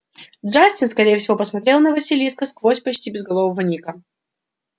джастин скорее всего смотрел на василиска сквозь почти безголового ника